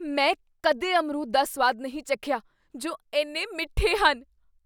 ਮੈਂ ਕਦੇ ਅਮਰੂਦ ਦਾ ਸੁਆਦ ਨਹੀਂ ਚੱਖਿਆ ਜੋ ਇੰਨੇ ਮਿੱਠੇ ਹਨ!